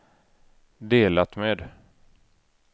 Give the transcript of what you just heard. delat med